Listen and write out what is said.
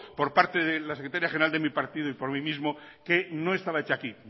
por parte de la secretaria general de mi partido y por mí mismo que no estaba hecha aquí